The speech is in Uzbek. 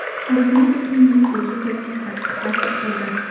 Ahmedovning yo‘qligi bizga qattiq ta’sir qildi.